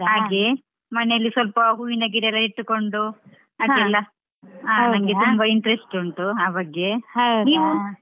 ಹಾಗೆ. ಮನೆಯಲ್ಲಿ ಸ್ವಲ್ಪ ಹೂವಿನ ಗಿಡ ಎಲ್ಲಾ ಇಟ್ಟುಕೊಂಡು. ತುಂಬಾ interest ಉಂಟು ಆ ಬಗ್ಗೆ. ?